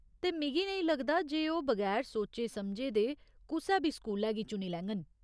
ते मिगी नेईं लगदा जे ओह् बगैर सोचे समझे दे कुसै बी स्कूलै गी चुनी लैङन।